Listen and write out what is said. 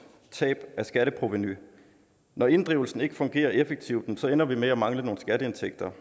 tab af skatteprovenu når inddrivelsen ikke fungerer effektivt ender vi med at mangle nogle skatteindtægter